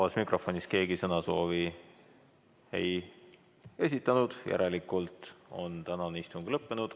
Vabas mikrofonis keegi sõnasoovi ei esitanud, järelikult on tänane istung lõppenud.